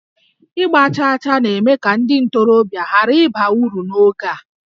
Ịgba chaa chaa na-eme ka ndị ntorobịa ghara ịba uru n'oge a